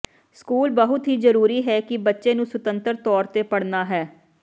school ਬਹੁਤ ਹੀ ਜ਼ਰੂਰੀ ਹੈ ਕਿ ਬੱਚੇ ਨੂੰ ਸੁਤੰਤਰ ਤੌਰ ਤੇ ਪੜ੍ਹਨਾ ਹੈ